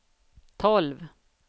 tolv